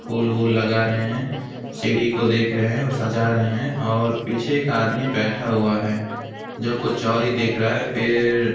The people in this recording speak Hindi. फूल वूल लगा रहे हैं सीढ़ी को देख रहे हैं और सजा रहे हैं और पीछे एक आदमी बैठा हुआ है जो कुछ और ही देख रहा है फिर--